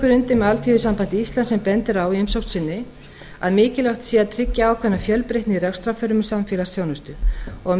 undir með alþýðusambandi íslands sem bendir á í umsögn sinni að mikilvægt sé að tryggja ákveðna fjölbreytni í rekstrarformum samfélagsþjónustu og að